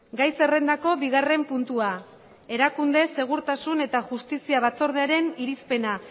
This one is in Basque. gai zerrendako bigarren puntua erakunde segurtasun eta justizia batzordearen irizpena